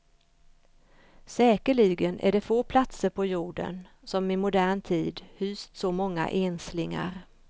Säkerligen är det få platser på jorden, som i modern tid hyst så många enslingar.